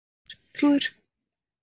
Stjörnuleikur úr óvæntri átt?